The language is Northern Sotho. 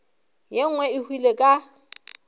ye nngwe e hwile ka